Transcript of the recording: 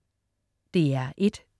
DR1: